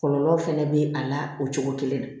Kɔlɔlɔ fɛnɛ bɛ a la o cogo kelen na